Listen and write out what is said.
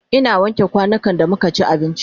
Ina wanke kwanukan da muka ci abinci